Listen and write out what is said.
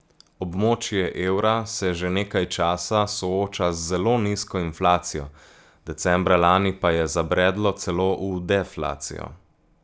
Območje evra se že nekaj časa sooča z zelo nizko inflacijo, decembra lani pa je zabredlo celo v deflacijo.